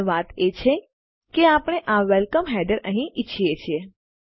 પણ વાત એ છે કે આપણે આ વેલકમ હેડરને અહીં ઈચ્છીએ છીએ